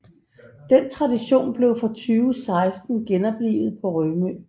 Den tradition blev fra 2016 genoplivet på Rømø